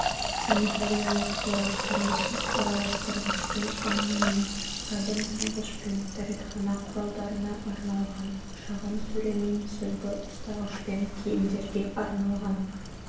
санитариялық торап тұрмыстық араластырғышпен айнамен сабын салғышпен дәретхана құралдарына арналған шағын сөремен сүлгі ұстағышпен киімдерге арналған